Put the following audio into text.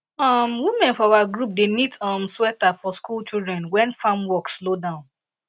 um women for our group dey knit um sweater for school children wen farm work slow down